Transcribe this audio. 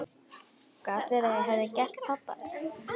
Gat verið að ég hefði gert pabba þetta?